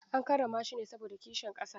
An karrama shi ne saboda kishin ƙasa.